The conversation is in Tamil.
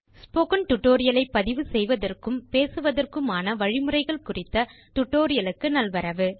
ஸ்போக்கன் டியூட்டோரியல் ஐ பதிவு செய்வதற்கும் பேசுவதற்க்குமான வழிமுறைகள் குறித்த tutorialக்கு நல்வரவு